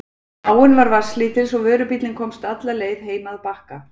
Áin var vatnslítil svo vörubíllinn komst alla leið heim að Bakka.